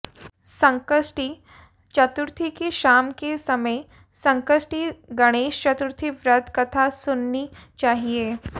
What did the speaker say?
संकष्टी चतुर्थी की शाम के समय संकष्टी गणेश चतुर्थी व्रत कथा सुननी चाहिए